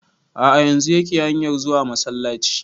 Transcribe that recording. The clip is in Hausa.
A'a yanzun yake hanyar zuwa masallaci